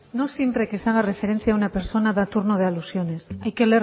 no siempre que se haga referencia a una persona da turno de alusiones hay que